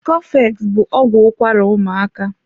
Cofex bụ ọgwụ ụkwara ụmaaka.